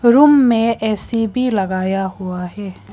Room में AC भी लगाया हुआ है।